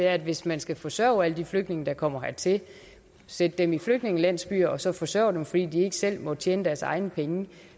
er at hvis man skal forsørge alle de flygtninge der kommer hertil sætte dem i flygtningelandsbyer og så forsørge dem fordi de ikke selv må tjene deres egne penge